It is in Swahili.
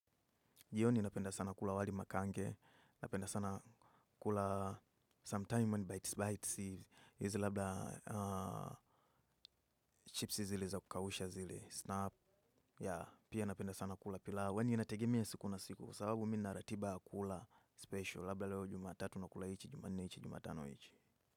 Jiyoni napenda sana kula wali makange, napenda sana kula some time when bites bites, hizi labda chipsi zilizo kausha zile snack pia napenda sana kula pilau kwani inategemea siku na siku, sababu mina ratiba kula special, labda leo jumatatu na kula hichi, jumanne hichi, jumatano hichi.